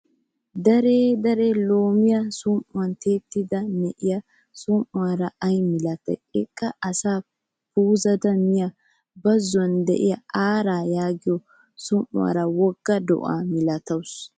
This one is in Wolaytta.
Deree deree loomiyaa som''uwan tiettada na''iyaa som''uwaara ayi malatayi! Eqqaa asa puuzdi miyaa bazzon diyaa aaraa yaagiyoo som''uwaara wogga do'aa malatawusu.